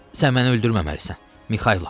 Sən məni öldürməməlisən, Mixailo.